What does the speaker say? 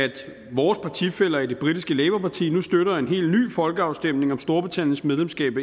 vores partifæller i det britiske labourparti nu støtter en helt ny folkeafstemning om storbritanniens medlemskab